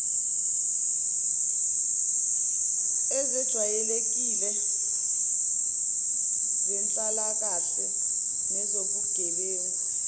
ezejwayeleklle zenhlalakahle nezobugebengu